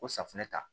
Ko safunɛ ta